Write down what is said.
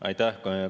Aitäh!